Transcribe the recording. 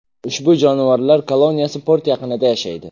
Ushbu jonivorlar koloniyasi port yaqinida yashaydi.